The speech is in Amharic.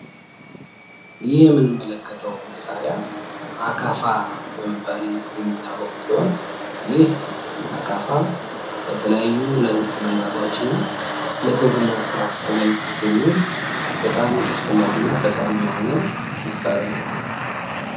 ይህ የምንመለከተዉ መሳሪያ አካፋ በመባል የሚታወቅ ሲሆን፤ ይህ አካፋ ለተለያዩ ለህንፃ ግንባታዎች እና ለግብርና ስራ አገልግሎት የሚዉል በጣም አስፈላጊ እና ጠቃሚ የሆነ መሳሪያ ነዉ።